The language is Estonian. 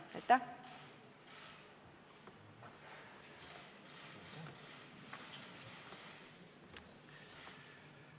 Aitäh!